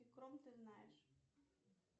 ты знаешь